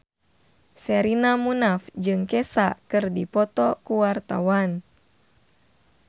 Sherina Munaf jeung Kesha keur dipoto ku wartawan